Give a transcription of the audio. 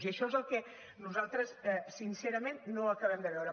i això és el que nosaltres sincerament no acabem de veure